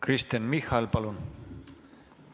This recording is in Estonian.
Kristen Michal, palun!